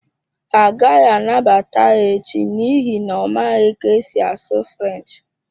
Ha agaghị anabata ya echi n’ihi na ọ maghị ka e si asụ French.